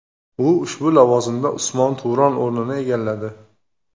U ushbu lavozimda Usmon Turon o‘rnini egalladi.